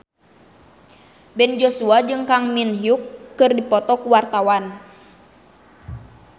Ben Joshua jeung Kang Min Hyuk keur dipoto ku wartawan